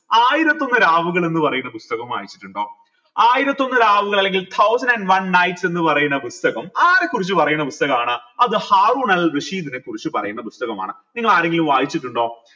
ആയിരത്തിയൊന്ന് രാവുകൾ എന്ന് പറയുന്ന പുസ്തകം വായിച്ചിട്ടിണ്ടോ ആയിരത്തിയൊന്ന് രാവുകൾ അല്ലെങ്കിൽ thousand and one nights എന്ന് പറയുന്ന പുസ്തകം ആരെ കുറിച്ച് പറയുന്ന പുസ്തകമാണ് അത് ഹാറൂനൽ റഷീദിനെ കുറിച്ച് പറയുന്ന പുസ്തകമാണ് നിങ്ങൾ ആരെങ്കിലും വായിച്ചിട്ടുണ്ടോ